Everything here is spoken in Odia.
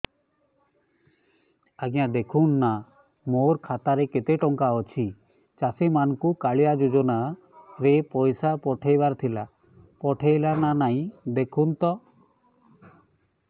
ଆଜ୍ଞା ଦେଖୁନ ନା ମୋର ଖାତାରେ କେତେ ଟଙ୍କା ଅଛି ଚାଷୀ ମାନଙ୍କୁ କାଳିଆ ଯୁଜୁନା ରେ ପଇସା ପଠେଇବାର ଥିଲା ପଠେଇଲା ନା ନାଇଁ ଦେଖୁନ ତ